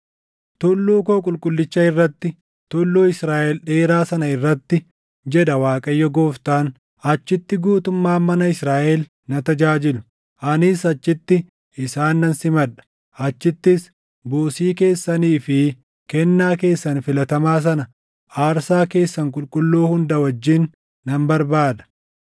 Tulluu koo qulqullicha irratti, tulluu Israaʼel dheeraa sana irratti, jedha Waaqayyo Gooftaan, achitti guutummaan mana Israaʼel na tajaajilu; anis achitti isaan nan simadha. Achittis buusii keessanii fi kennaa keessan filatamaa sana aarsaa keessan qulqulluu hunda wajjin nan barbaada.